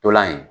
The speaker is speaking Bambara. Ntolan in